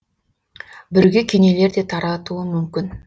бүрге кенелер де таратуы мүмкін